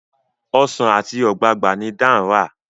Ọsán ati ogbagba ni Dan rà.